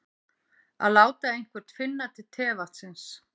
Að láta einhvern finna til tevatnsins